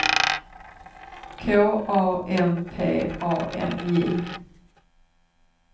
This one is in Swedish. K A M P A N J